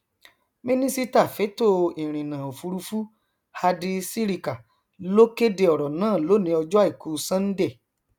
mínísítà fẹtọ ìrìnnà òfúrufú hadi sirika ló kéde ọrọ náà lónìí ọjọ àìkú sánńdẹ